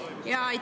Palun!